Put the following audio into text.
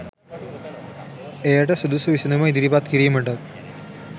එයට සුදුසු විසැඳුම ඉදිරිපත් කිරීමටත්